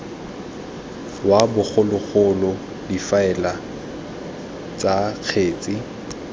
wa bogologolo difaele tsa kgetse